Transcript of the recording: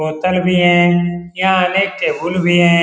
बोतल भी है या अनेक टेबुल है ।